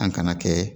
An kana kɛ